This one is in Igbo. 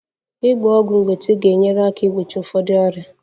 Ịgba ọgwụ mgbochi ga-enyere aka igbochi ụfọdụ ọrịa